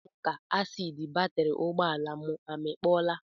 Ọ na-adị m ka asiidi batịrị ụgbọala m amịkpọọla